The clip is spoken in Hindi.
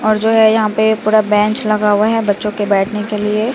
और जो है यहां पे पूरा बेंच लगा हुआ है बच्चों के बैठने के लिए।